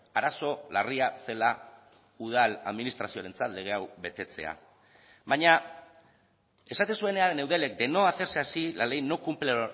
arazo larria zela udal administrazioarentzat lege hau betetzea baina esaten zuenean eudelek de no hacerse así la ley no cumple